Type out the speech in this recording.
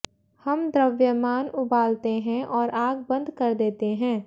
हम द्रव्यमान उबालते हैं और आग बंद कर देते हैं